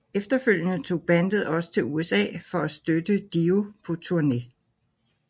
Efterfølgende tog bandet også til USA for at støtte Dio på turné